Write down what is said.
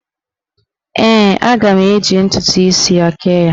Ee, aga m eji ntụtụ isi ya kee ya.